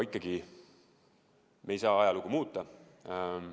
Aga me ei saa ajalugu muuta.